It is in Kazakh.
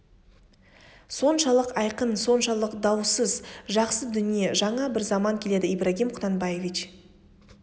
соншалық айқын соншалық дауғыз жақсы дүние жаңа бір заман келеді ибрагим құнанбаевич